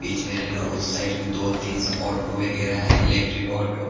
बीच में और उस साइड के दो तीनस वगैरा है इलेक्ट्रिक ऑटो --